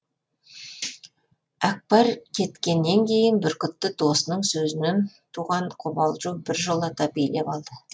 әкпар кеткеннен кейін бүркітті досының сөзінен туған қобалжу біржолата билеп алды